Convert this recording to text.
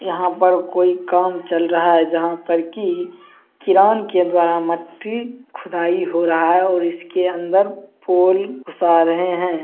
यहाँ पर कोई काम चल रहा है जहाँ पर की कीरान के द्वारा मट्टी खुदाई हो रहा है और इसके अंदर पोल घुसा रहे हैं।